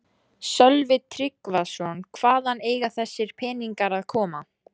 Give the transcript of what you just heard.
Sölvi Tryggvason: Hvaðan eiga þessir peningar að koma?